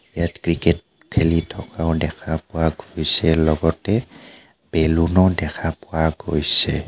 ইয়াত ক্ৰিকেট খেলি থকাও দেখা পোৱা গৈছে লগতে বেলুন ও দেখা পোৱা গৈছে.